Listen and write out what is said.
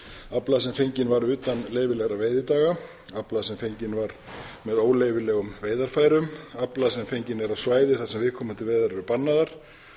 afla sem fenginn var utan leyfilegra veiðidaga afla sem fenginn var með óleyfilegum veiðarfærum afla sem fenginn er af svæði þar sem viðkomandi veiðar eru bannaðar